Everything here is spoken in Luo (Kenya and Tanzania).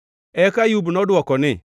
Eka Ayub nodwoko ni,